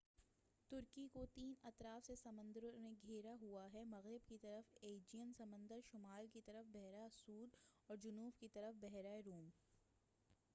ترکی کو تین اطراف سے سمندروں نے گھیرا ہُوا ہے مغرب کی طرف ایجیئن سمندر شُمال کی جانب بحراسود اور جنوب کی جانب بحیرہ روم